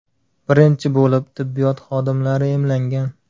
Birinchi bo‘lib tibbiyot xodimlari emlangan.